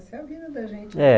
Essa é a vida da gente. É